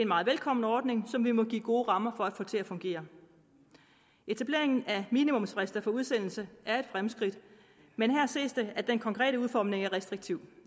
meget velkommen ordning som vi må give gode rammer for at få til at fungere etablering af minimumsfrister for udsendelse er et fremskridt men her ses det at den konkrete udformning er restriktiv